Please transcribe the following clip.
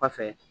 Kɔfɛ